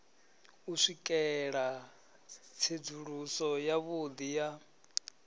u swikela tsedzuluso yavhudi ya